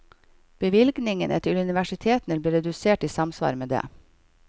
Bevilgningene til universitetene ble redusert i samsvar med det.